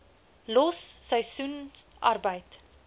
los seisoensarbeid